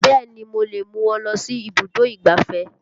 Bẹ́ẹ̀ni mo lè mú ọ lọ sí ibùdó ìgbáfẹ́